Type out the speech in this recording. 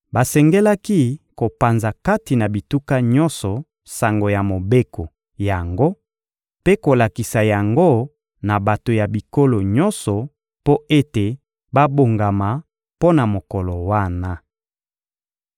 Basengelaki kopanza kati na bituka nyonso sango ya mobeko yango mpe kolakisa yango na bato ya bikolo nyonso mpo ete babongama mpo na mokolo wana.